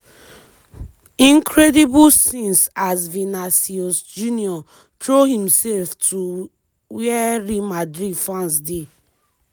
incredible scenes as vinã­cius jr throw imself to wia real madrid fans dey.